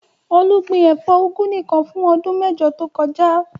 Olú gbin ẹ̀fọ́ úgú nìkan fún ọdún mẹ́jọ tó kọjá.